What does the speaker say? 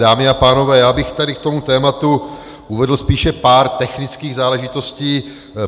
Dámy a pánové, já bych tady k tomu tématu uvedl spíše pár technických záležitostí.